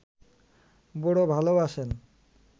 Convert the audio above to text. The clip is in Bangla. বড় ভালবাসেন